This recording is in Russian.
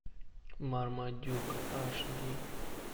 мармадюк аш ди